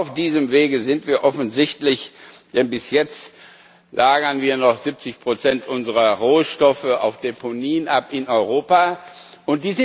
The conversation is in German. Auf diesem Wege sind wir offensichtlich, denn bis jetzt lagern wir noch 70 unserer Rohstoffe auf Deponien in Europa ab.